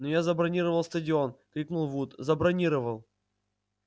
но я забронировал стадион крикнул вуд забронировал